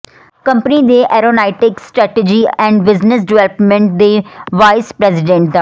company ਦੇ aeronautics strategy and business development ਦੇ vice president ਡਾ